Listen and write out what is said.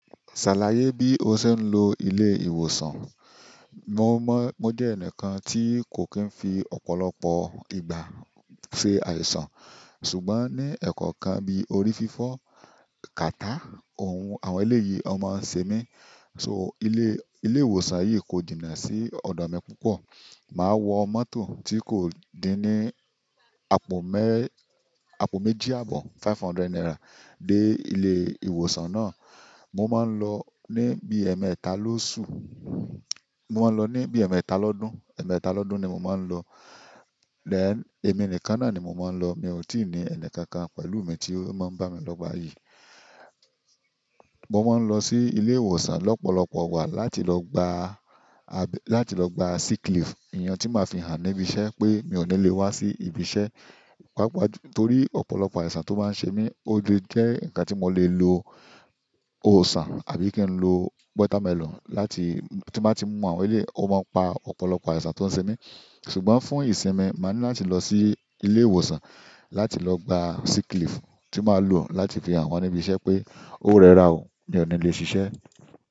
Ṣàlàyé bí o ṣe ń lo ilé ìwòsàn. Mo jẹ ẹnikan ti ko kìí fi ọ̀pọ̀lọpọ̀ ìgbà ṣe àìsàn ṣùgbọ́n ni ẹkọ kan bí orí fifọ, kàtáa àwọn eléyìí wọn máa n ṣe mí. So ilé, ilé ìwòsàn yìí kò jìnà sí ọ̀dọ̀ mi púpọ̀. Màá wọ mọ́tò tí kò dí ní àpò mé, àpò méjì àbọ̀, five hundred naira dé ilé ìwòsàn náà. Mo máa ń lọ ní bí ẹmẹta lóṣù, mo máa ń lọ ní bí ẹmẹta lọ́dún, ẹmẹta lọ́dún ni mo máa ń lọ. Then èmi nìkan náà ni mo máa ń lọ. Mi ò tí ì ní ẹnikọ̀ọ̀kan pẹ̀lú mi tí ó máa ń bá mi lọ gba yìí. Mo máà lọ si ilé ìwòsàn lọpọlọpọ ìgbà láti lọ gbá sick leave. Ìyẹn tí màá fi hàn níbi iṣẹ́ pé mi ò ní lè wá sí ibi iṣẹ́, pàápàá torí ọ̀pọ̀lọpọ̀ àìsàn tó máa ń ṣe mí. Ó lè jẹ́ nǹkan tí mo lè lo òòsà àbí kí n lo watermelon láti tí mo bá ti mú àwọn ilé, ó máa ń pa ọ̀pọ̀lọpọ̀ àìsàn tó ń ṣe mí. Ṣùgbọ́n fún ìsinmi, máa ní láti lọ sí ilé ìwòsàn láti lọ gba sick leave tí màá lò láti fi hàn wọ́n níbi iṣẹ́ pé ó rẹ́ra o, mi ò ní lè ṣiṣẹ́.